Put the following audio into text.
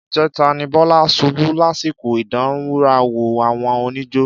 Ìjẹta ni Bọ́lá ṣubú lásìkò ìdánrawò àwọn oníjó.